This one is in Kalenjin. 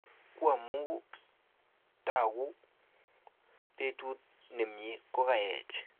Qamu tokguu betut nemie kokaech